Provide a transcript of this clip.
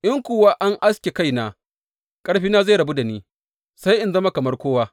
In kuwa an aske kaina, ƙarfina zai rabu da ni, sai in zama kamar kowa.